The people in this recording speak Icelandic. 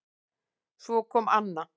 Svo kom Anna